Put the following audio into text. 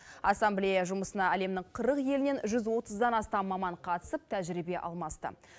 ассамблея жұмысына әлемнің қырық елінен жүз отыздан астам маман қатысып тәжірибе алмасты